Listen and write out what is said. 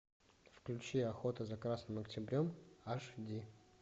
включи охота за красным октябрем аш ди